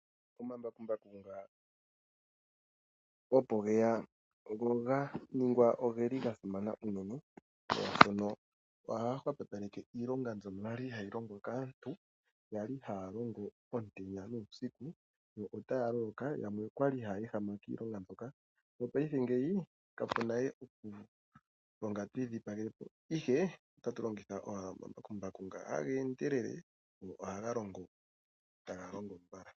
Omambakumbaku ngano opo geya go ga ningwa oga simana unene, molwashoka ohaga hwepopaleke iilonga mbyono ya li hayi longwa kaantu, ya li haya longo omutenya nuusiku, yo otaya loloka, yamwe oya li haya ehama kiilonga mbyoka. Mopaife kapu na we okulonga to idhipagele po, ihe otatu longitha owala omambakumbaku nga haga endelele go ohaga longo taga longo mbala.